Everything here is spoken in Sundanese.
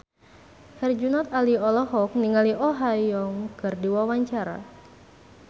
Herjunot Ali olohok ningali Oh Ha Young keur diwawancara